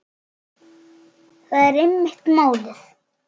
Það er einmitt málið.